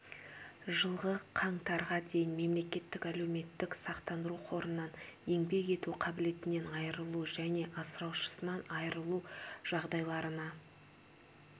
жылғы қаңтарға дейін мемлекеттік әлеуметтік сақтандыру қорынан еңбек ету қабілетінен айырылу және асыраушысынан айырылу жағдайларына